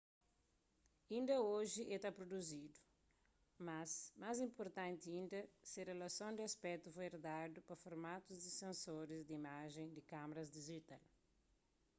inda oji é ta pruduzidu mas más inpurtanti inda se relason di aspétu foi erdadu pa formatus di sensoris di imajen di kamaras dijital